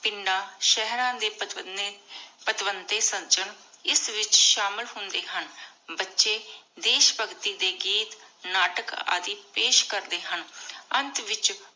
ਪਿੰਡਾਂ ਸ਼ੇਹ੍ਰਾਂ ਦੇ ਇਸ ਵਿਚ ਸ਼ਾਮਿਲ ਹੁੰਦੇ ਹਨ। ਬੱਚੇ ਦੇਸ਼ ਭਗਤੀ ਦੇ ਗੀਤ ਨਾਟਕ ਆਦਿ ਪੇਸ਼ ਕਰਦੇ ਹਨ। ਅੰਤ ਵਿਚ